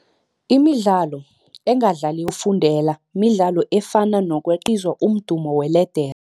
Imidlalo engadlaliwa ngekumbeni yokufundela midlalo efana nokweqa lokha nakubizwa umdumo weledere.